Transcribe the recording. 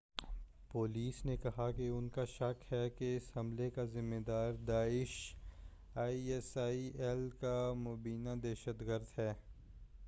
Police نے کہا کہ ان کا شک ہے کہ اس حملے کا ذمہ دار داعش آئی ایس آئی ایل کا مبّینہ دہشتگرد ہے۔